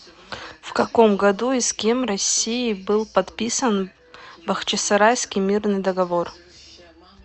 в каком году и с кем россией был подписан бахчисарайский мирный договор